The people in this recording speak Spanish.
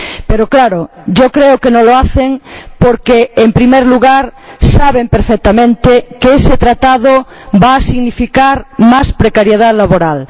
Pero claro, yo creo que no lo hacen porque, en primer lugar, saben perfectamente que ese Tratado va a significar más precariedad laboral